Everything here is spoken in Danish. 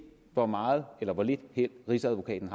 hvor meget eller hvor lidt held rigsadvokaten